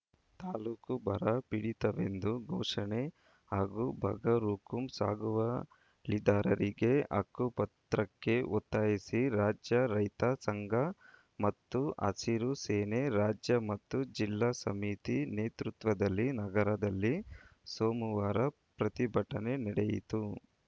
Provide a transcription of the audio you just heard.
ತಾಲೂಕು ಬರ ಪೀಡಿತವೆಂದು ಘೋಷಣೆ ಹಾಗೂ ಬಗರ್‌ಹುಕುಂ ಸಾಗುವಳಿದಾರರಿಗೆ ಹಕ್ಕುಪತ್ರಕ್ಕೆ ಒತ್ತಾಯಿಸಿ ರಾಜ್ಯ ರೈತ ಸಂಘ ಮತ್ತು ಹಸಿರು ಸೇನೆ ರಾಜ್ಯ ಮತ್ತು ಜಿಲ್ಲಾ ಸಮಿತಿ ನೇತೃತ್ವದಲ್ಲಿ ನಗರದಲ್ಲಿ ಸೋಮವಾರ ಪ್ರತಿಭಟನೆ ನಡೆಯಿತು